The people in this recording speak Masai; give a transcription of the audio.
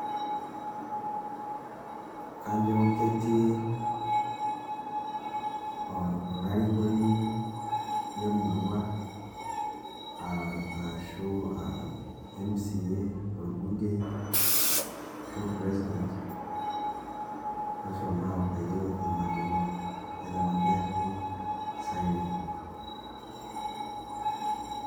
kajo ketii olarikoni lemurrua ashu aa mca ,orbungei ashu president oshomo abaiki ina murua eeta ena n`gari siren.